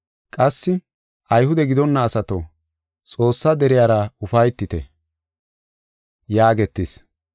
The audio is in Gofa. Qassi, “Ayhude gidonna asato, Xoossaa deriyara ufaytite” yaagetis.